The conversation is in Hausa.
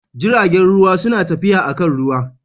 Jiragen ruwa suna tafiya akan ruwa.